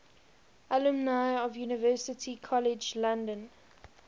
alumni of university college london